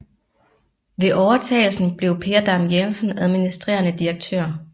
Ved overtagelsen blev Per Dam Jensen administrerende direktør